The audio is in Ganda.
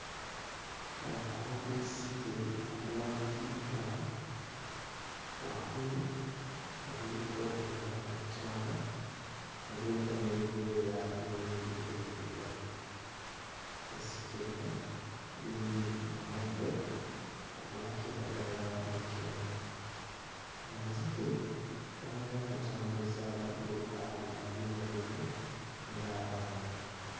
Omukono gw'ezzike nga guwanikiddwa waggulu nga guliko engalo ttaano nga guliko n'ebyoya bingi ebiddugavu. Ezzike lino liri mu muddo ogwa kiragala ne kyenvu. Amazike gamanyi okutambuza amagulu abiri ag'emabega ng'abantu.